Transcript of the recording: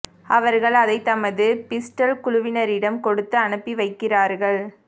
அவர்கள் அதைத் தமது பிஸ்டல் குழுவினரிடம் கொடுத்து அனுப்பி வைக்கிறார்கள்